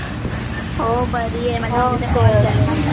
हो बरी आहे